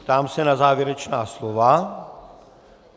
Ptám se na závěrečná slova.